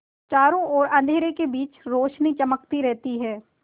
चारों ओर अंधेरे के बीच रौशनी चमकती रहती है